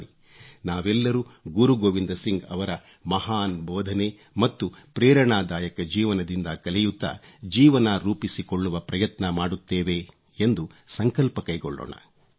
ಬನ್ನಿ ನಾವೆಲ್ಲರೂ ಗುರು ಗೋವಿಂದ್ ಸಿಂಗ್ ಅವರ ಮಹಾನ್ ಬೋಧನೆ ಮತ್ತು ಪ್ರೇರಣಾದಾಯಕ ಜೀವನದಿಂದ ಕಲಿಯುತ್ತಾ ಜೀವನ ರೂಪಿಸಿಕೊಳ್ಳ್ಳುವ ಪ್ರಯತ್ನ ಮಾಡುತ್ತೇವೆ ಎಂದು ಸಂಕಲ್ಪ ಕೈಗೊಳ್ಳೋಣ